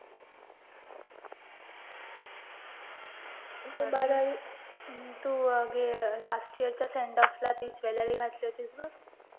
त अं last year च्या sendoff ला ती jewelry घातली होतीस बघ